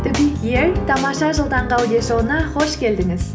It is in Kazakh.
тамаша жыл таңғы аудиошоуына қош келдіңіз